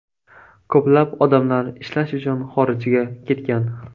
Ko‘plab odamlar ishlash uchun xorijga ketgan.